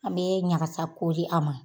An bɛ ɲagasa kori a ma